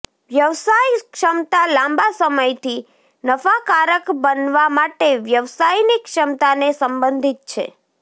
વ્યવસાયક્ષમતા લાંબા સમયથી નફાકારક બનવા માટે વ્યવસાયની ક્ષમતાને સંબંધિત છે